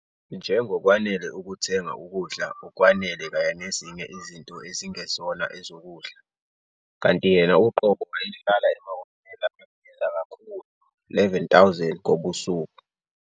"njengokwanele ukuthenga ukudla okwanele kanye nezinye izinto ezingezona ezokudla", kanti yena uqobo wayehlala emahhotela abiza kakhulu R11,000 ngobusuku.